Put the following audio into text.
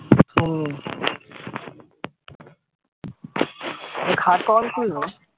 হুম